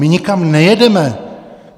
My nikam nejedeme.